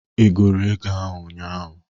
Ị gụrụ ego ụnyaahụ?